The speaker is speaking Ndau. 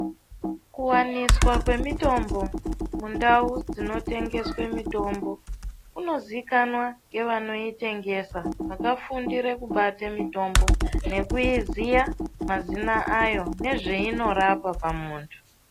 Kuwaniswa kwemitombo mundau dzinotengeswa mitombo kunozikanwa nevakaitengesa vakafundura kubate mitombo nekuiziya mazina ayo nezve zvainorapa pamuntu.